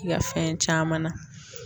I ka fɛn caman na.